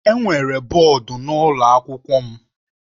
Enwere bọọdụ n'ụlọ akwụkwọ m.